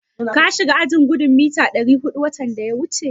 Ka shiga gudun mita ɗari huɗun watan da ya wuce?